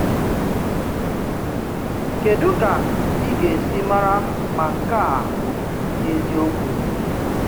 Kedu ka ị̀ ga-esi mara ma nke a bụ eziokwu?